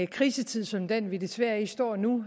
krisetid som den vi desværre står i nu